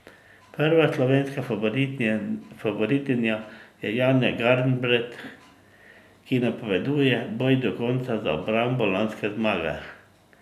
Prva slovenska favoritinja je Janja Garnbret, ki napoveduje boj do konca za obrambo lanske zmage.